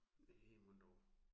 Næ mon dog